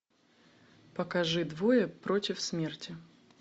покажи двое против смерти